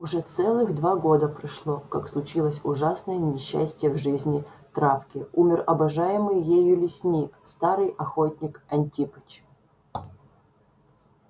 уже целых два года прошло как случилось ужасное несчастье в жизни травки умер обожаемый ею лесник старый охотник антипыч